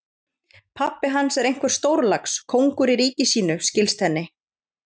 Pabbi hans er einhver stórlax, kóngur í ríki sínu, skilst henni.